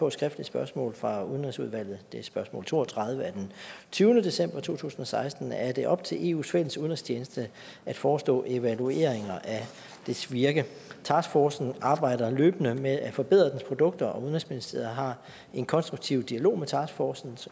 et skriftligt spørgsmål fra udenrigsudvalget det er spørgsmål to og tredive af tyvende december to tusind og seksten er det op til eus fælles udenrigstjeneste at forestå evalueringer af dets virke taskforcen arbejder løbende med at forbedre sine produkter og udenrigsministeriet har en konstruktiv dialog med taskforcen